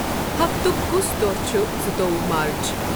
ہفتُک کُس دوہ چُھ زٕ تووُہ مارچ؟